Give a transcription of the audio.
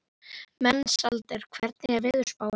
Mensalder, hvernig er veðurspáin?